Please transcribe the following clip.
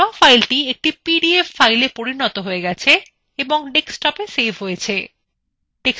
draw file একটি PDF filea পরিনত হয়ে গেছে এবং desktop a সেভ হয়েছে